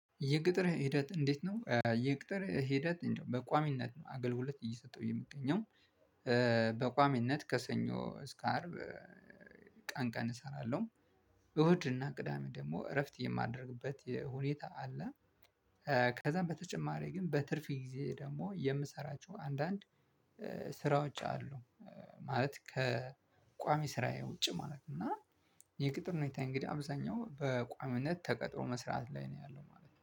የቅጥር ሂደት እንዴት ነው? የቅጥር ሂደት እንደው በቋሚነት ነው አገልግሎት እየሰጠው የምገኘው። በቋሚነት ከሰኞ እስከ አርብ ቀን ቀን እሰራለሁ። እሁድና ቅዳሜ ደግሞ እረፍት የማደርግበት ሁኔታ አለ። ከዛም በተጨማሪ ግን በትርፍ ጊዜ ደግሞ የምሰራቸው አንዳንድ ስራዎች አሉ። ማለት ከቋሚ ስራዬ ውጪ ማለት ነው። እና የቅጥር ሁኔታዬ እንግዲህ አብዛኛው በቋሚነት ተቀጥሮ መስራት ላይ ነው ያለው ማለት ነው።